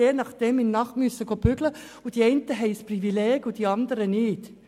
Die einen haben ein Privileg und die anderen nicht.